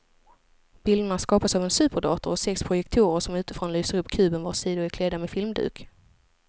Bilderna skapas av en superdator och sex projektorer som utifrån lyser upp kuben vars sidor är klädda med filmduk.